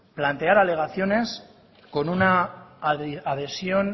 plantear alegaciones con una adhesión